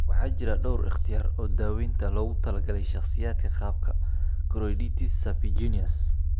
Waxaa jira dhawr ikhtiyaar oo daawaynta ah oo loogu talagalay shakhsiyaadka qaba koroiditis serpiginous.